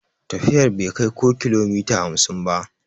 Tafiyar bai kai ko kilomita hamsin ba.